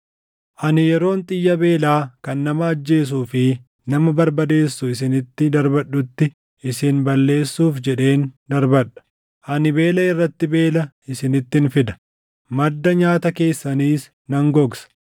Ani yeroon xiyya beelaa kan nama ajjeesuu fi nama barbadeessu isinitti darbadhutti isin balleessuuf jedheen darbadha. Ani beela irratti beela isinittin fida; madda nyaata keessaniis nan gogsa.